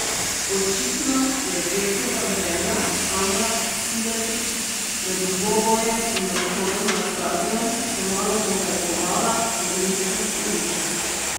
Očitno je Džekova žena Amra Silajdžić pred dvobojem in odhodom na stadion še malo pohajkovala po rimskih ulicah.